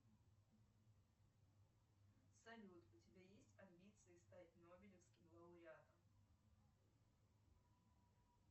салют у тебя есть амбиции стать нобелевским лауреатом